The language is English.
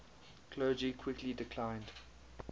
clergy quickly declined